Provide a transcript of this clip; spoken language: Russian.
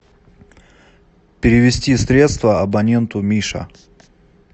перевести средства абоненту миша